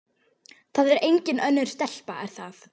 Það er engin önnur stelpa, er það?